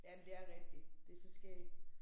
Jamen det er rigtigt det så skægt